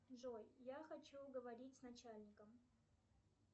джой я хочу говорить с начальником